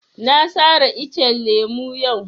Na sare iccen lemo yau